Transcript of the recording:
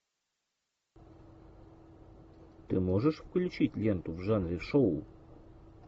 ты можешь включить ленту в жанре шоу